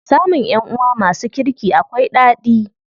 Samun ƴanʼuwa masu kirki akwai ɗadi.